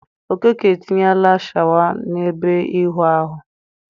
Okeke etinyela shawa n'ebe ịwụ ahụ ya.